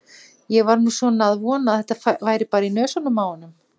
Ég var nú svona að vona að þetta væri bara í nösunum á honum.